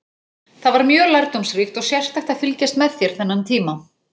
Það var mjög lærdómsríkt og sérstakt að fylgjast með þér þennan tíma.